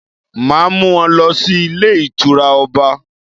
Màá mú won lọ sí Ilé Ìtura Ọba